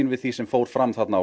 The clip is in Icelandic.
við því sem fór fram þarna á